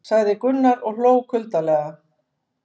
sagði Gunnar og hló kuldalega.